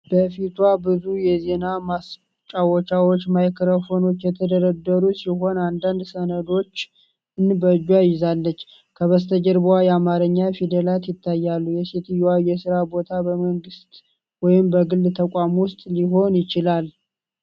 በፊቷ ብዙ የዜና ማሰራጫዎች ማይክሮፎኖች የተደረደሩ ሲሆን አንዳንድ ሰነዶችን በእጇ ይዛለች። ከበስተጀርባው የአማርኛ ፊደላት ይታያሉ፤ የሴትየዋ የሥራ ቦታ በመንግሥት ወይም በግል ተቋም ውስጥ ሊሆን ይችላል?